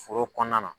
Foro kɔnɔna na